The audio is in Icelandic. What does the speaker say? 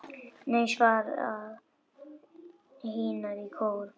Nei, svara hinar í kór.